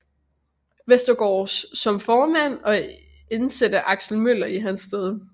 Westergaard som formand og indsætte Aksel Møller i hans sted